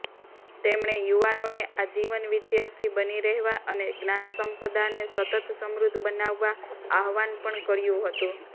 તેમણે યુવાનોને આજીવન વિદ્યાર્થી બની રહેવા અને જ્ઞાનસંપદાને સતત સમૃદ્ઘ બનાવવા આહ્વાન પણ કર્યુ હતુ